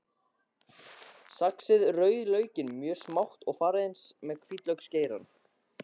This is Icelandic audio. Saxið rauðlaukinn mjög smátt og farið eins með hvítlauksgeirann.